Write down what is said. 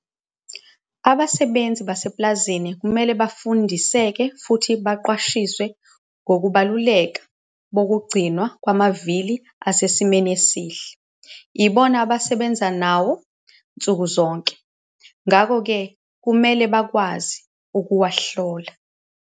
Abasebenzi basepulazini kumele bafundiseke futhi baqwashiswe ngokubaluleka bokugcinwa kwamavili asesimeni esihle. Yibona abasebenza nawo nsuku zonke, ngakho-ke kumele bakwazi ukuwahlola.